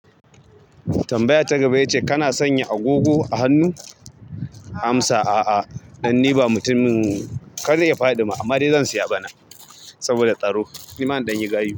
Tambaya ta gaba ita ce kana sanya agogo a hannu? Amsa a'a, dan ni ba mutumin kar ya faɗi ma amma dai zan siya bana saboda tsaro. Nima in danyi gayu.